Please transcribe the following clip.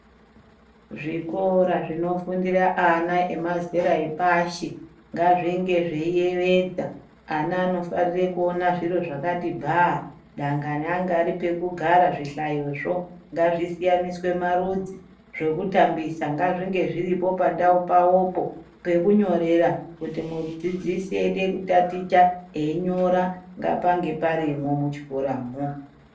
Zvikora zvinofundire ana emazera epashi ngazvinge zveyiyevedza. Ana anofarire kuona zviro zvakati bhaa dangani anga pari pekugara zvihlayo zvo ngazvisiyaniswe marudzi, zvekutambisa ngazvinge zviripo pandau pawopo pekunyorera kuti mudzidzisi eyidekutaticha eyinyora ngapange parimo muchikoramo.